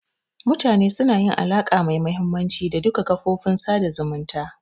Mutane suna yin alaka mai mahimmanci da duka kafofin sada zumunta